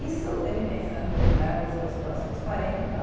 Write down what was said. Isso, eu me pensando né nos meus próximos quarenta e tal.